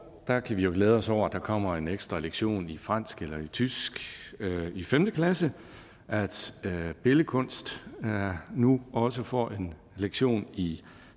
der kan vi jo glæde os over at der kommer en ekstra lektion i fransk eller tysk i femte klasse at billedkunst nu også får en lektion i